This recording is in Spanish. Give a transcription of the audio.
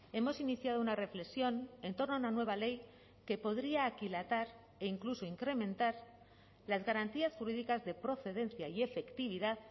hemos iniciado una reflexión en torno a una nueva ley que podría aquilatar e incluso incrementar las garantías jurídicas de procedencia y efectividad